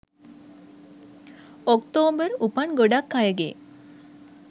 ඔක්තෝම්බර් උපන් ගොඩක් අයගේ